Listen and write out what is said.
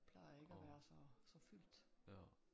Plejer ikke at være så så fyldt